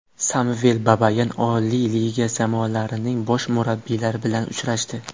Samvel Babayan Oliy Liga jamoalarining bosh murabbiylari bilan uchrashdi.